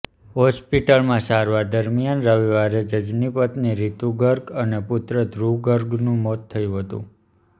હોસ્પિટલમાં સારવાર દરમિયાન રવિવારે જજની પત્ની રિતુ ગર્ગ અને પુત્ર ધ્રૂવ ગર્ગનું મોત થયું હતું